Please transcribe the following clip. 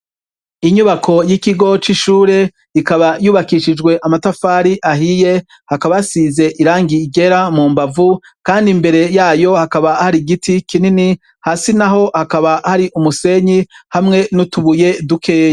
Inyubako y'ikigo c'ishure ikaba yubakishije amatafari ahiye hakaba hasize irangi ryera mu mbavu kandi imbere yayo hakaba hari igiti kinini hasi naho hakaba hari musenyi n'utubuye dutoya.